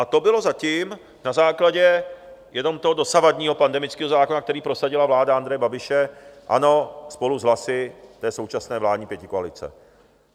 A to bylo zatím na základě jenom toho dosavadního pandemického zákona, který prosadila vláda Andreje Babiše, ano, spolu s hlasy té současné vládní pětikoalice.